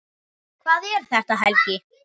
Hvað er þetta, Helgi?